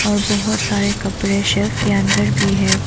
और बहुत सारे कपड़े शेल्फ के अंदर भी है।